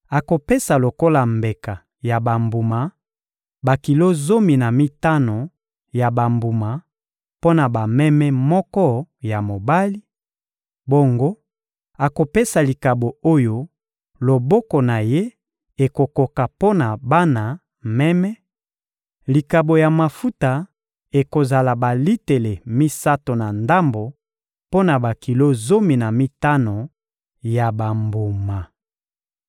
Akopesa lokola mbeka ya bambuma bakilo zomi na mitano ya bambuma mpo na meme moko ya mobali; bongo, akopesa likabo oyo loboko na ye ekokoka mpo na bana meme; likabo ya mafuta ekozala balitele misato na ndambo mpo na bakilo zomi na mitano ya bambuma.